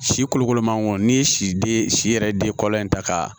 Si kolokolo mangoro n'i ye si den si yɛrɛ den kɔrɔ in ta ka